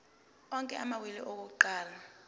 onke amawili akuqala